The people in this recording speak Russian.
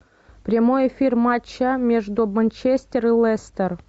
прямой эфир матча между манчестер и лестер